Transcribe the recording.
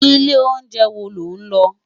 Ilé óunjè wó ló n lò?